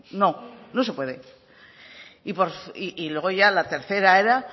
no no se puede y luego ya la tercera era